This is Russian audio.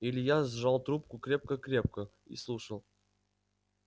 илья сжал трубку крепко крепко и слушал